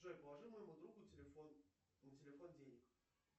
джой положи моему другу на телефон денег